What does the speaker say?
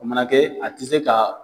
O mana kɛ a tɛ se ka